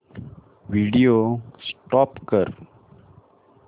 video stop कर